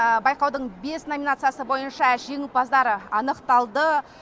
байқаудың бес номинациясы бойынша жеңімпаздар анықталды